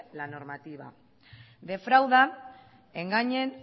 la normativa defraudan engañan